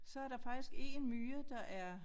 Så er der faktisk 1 myre der er